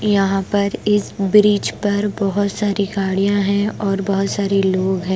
यहां पर इस ब्रिज पर बहुत सारी गाड़ियां हैं और बहुत सारे लोग हैं।